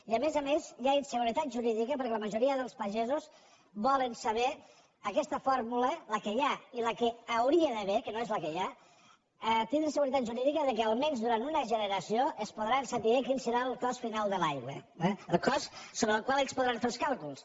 i a més a més hi ha inseguretat jurídica perquè la majoria dels pagesos volen saber amb aquesta fórmula la que hi ha i la que hi hauria d’haver que no és la que hi ha tindre la seguretat jurídica que almenys durant una generació es podrà saber quin serà el cost final de l’aigua el cost sobre el qual ells podran fer els càlculs